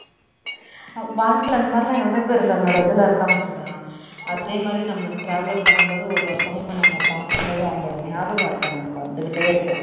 வாழ்க்கைல அந்தமாதிரி எல்லாம் எவ்வளவுபேர் தன்னோட இதுல இருக்காங்க சுதா அதே மாதிரி நம்ம travel பண்ணும்போது ஒரு ஒருத்தங்க நம்ம பாக்கும்போது அவங்களோட நியாபகார்த்தம் நமக்கு வந்துகிட்டே இருக்கும்